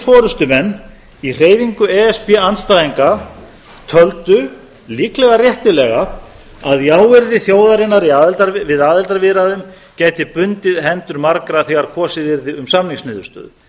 forustumenn í hreyfingu e s b andstæðinga töldu líklega réttilega að jáyrði þjóðarinnar við aðildarviðræðum gæti bundið hendur margra þegar kosið yrði um samningsniðurstöðu